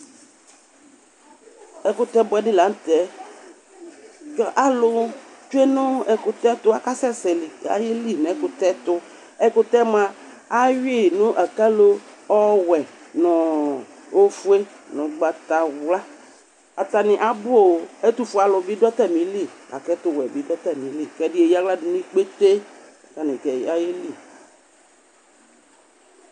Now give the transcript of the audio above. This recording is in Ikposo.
Ɛkutɛ buɛɖi lanŋtɛAalʋ tsue nʋ ɛkʋtɛɛ tʋ,akasɛsɛ k'ayeli n'ɛkʋtɛ tʋ Ɛkʋtɛyɛ moa, ahui n'akalo ɔwuɛ nʋ ofue nʋ ʋgbatawlaatami abuooƐtʋfuenibi ɖʋ atamili, la k'ɛtʋwuɛbi ɖʋ atamiliƐɖi eyeaɣla ɖʋ nʋ ikpete k'atami ayeli